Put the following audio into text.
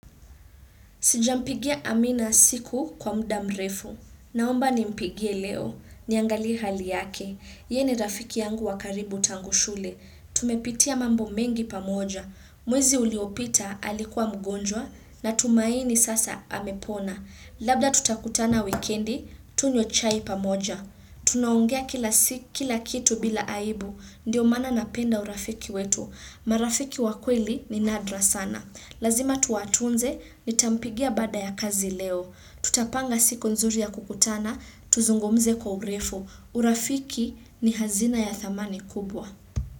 Sijampigia Amina siku kwa mda mrefu. Naomba ni mpigie leo. Niangalie hali yake. Ye ni rafiki yangu wa karibu tangu shule. Tumepitia mambo mengi pamoja. Mwezi uliopita alikuwa mgonjwa na tumaini sasa amepona. Labda tutakutana wikendi, tunywe chai pamoja. Tunaongea kila kitu bila aibu. Ndio maana napenda urafiki wetu. Marafiki wakweli ni nadra sana. Lazima tuwatunze nitampigia baada ya kazi leo. Tutapanga siku nzuri ya kukutana. Tuzungumze kwa urefu. Urafiki ni hazina ya thamani kubwa.